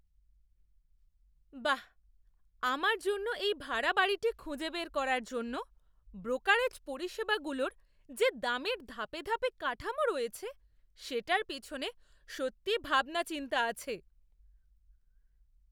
বাঃ, আমার জন্য এই ভাড়া বাড়িটি খুঁজে বের করার জন্য ব্রোকারেজ পরিষেবাগুলোর যে দামের ধাপে ধাপে কাঠামো রয়েছে, সেটার পিছনে সত্যিই ভাবনা চিন্তা আছে।